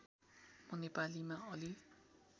म नेपालीमा अलि